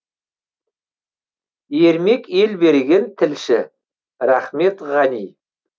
ермек елберген тілші рахмет ғани